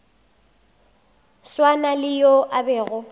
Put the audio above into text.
swana le yo a bego